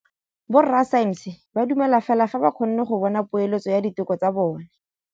Borra saense ba dumela fela fa ba kgonne go bona poeletsô ya diteko tsa bone.